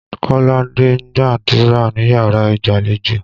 Kọ́ládé ń gbàdúrà níyàrá ìgbàlejò.